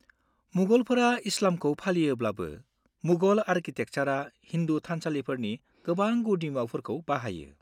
-मुगलफोरा इस्लामखौ फालियोब्लाबो, मुगल आरकिटेकचारआ हिन्दु थानसालिफोरनि गोबां गुदिमुवाफोरखौ बाहायो।